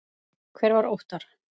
Hver var Óttar?